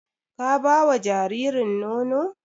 Ka ba wa jaririn nono?